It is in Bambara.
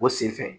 O sen fɛ